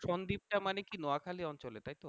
সন্দীপ টা মানে কি নোয়াখালী অঞ্চলে তাইতো?